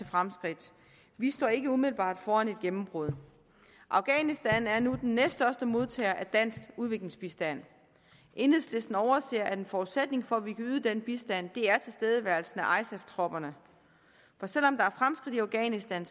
fremskridt vi står ikke umiddelbart foran et gennembrud afghanistan er nu den næststørste modtager af dansk udviklingsbistand enhedslisten overser at en forudsætning for at vi kan yde den bistand er tilstedeværelsen af isaf tropperne for selv om der er fremskridt i afghanistan